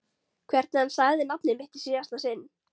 Hvernig hann sagði nafnið mitt í síðasta sinn.